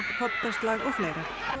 koddaslag og fleira